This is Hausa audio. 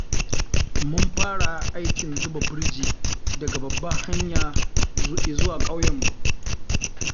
Mun fara aikin zuba burji daga babbar hanya izuwa ƙauyenmu.